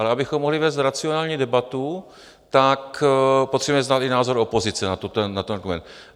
Ale abychom mohli vést racionální debatu, tak potřebujeme znát i názor opozice na ten dokument.